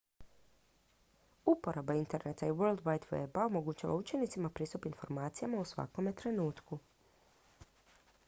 uporaba interneta i world wide weba omogućava učenicima pristup informacijama u svakom trenutku